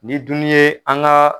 Ni dun ye an ga